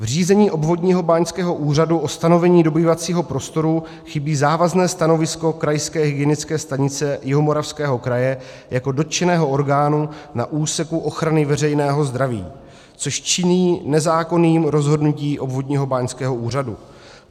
V řízení obvodního báňského úřadu o stanovení dobývacího prostoru chybí závazné stanovisko Krajské hygienické stanice Jihomoravského kraje jako dotčeného orgánu na úseku ochrany veřejného zdraví, což činí nezákonným rozhodnutí obvodního báňského úřadu.